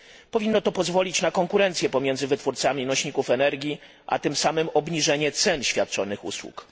Powinno to pozwolić na konkurencję pomiędzy wytwórcami nośników energii, a tym samym obniżenie cen świadczonych usług.